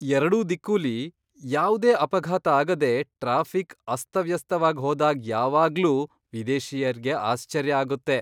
ಎರಡೂ ದಿಕ್ಕುಲಿ ಯಾವ್ದೇ ಅಪಘಾತ ಆಗದೆ ಟ್ರಾಫಿಕ್ ಅಸ್ತವ್ಯಸ್ತವಾಗ್ ಹೋದಾಗ್ ಯಾವಾಗ್ಲೂ ವಿದೇಶಿಯರ್ಗೆ ಆಶ್ಚರ್ಯ ಆಗುತ್ತೆ.